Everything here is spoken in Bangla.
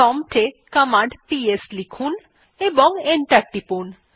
প্রম্পট এ কমান্ড পিএস লিখুন এবং এন্টার টিপুন